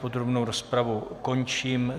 Podrobnou rozpravu končím.